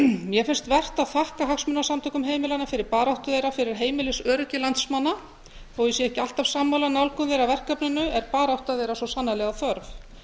mér finnst vert að þakka hagsmunasamtökum heimilanna fyrir baráttu þeirra fyrir heimilisöryggi landsmanna þó ég sé ekki alltaf sammála nálgun þeirra af verkefninu er barátta þeirra svo sannarlega þörf